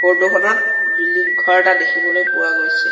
Photo খনত building ঘৰ এটা দেখিবলৈ পোৱা গৈছে।